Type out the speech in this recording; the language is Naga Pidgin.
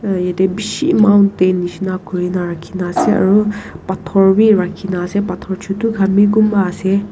aru jatte bisi mountent nisna khori na rakhi kina ase aru pathor bhi rakhi pathor chotu khan bhi kunba ase.